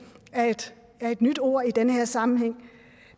er et nyt ord i den her sammenhæng